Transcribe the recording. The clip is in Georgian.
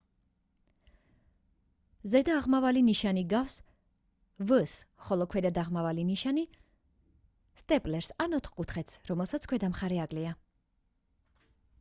ზედა აღმავალი ნიშანი ჰგავს v-ს ხოლო ქვედა დაღმავალი ნიშანი სტეპლერს ან ოთხკუთხედს რომელსაც ქვედა მხარე აკლია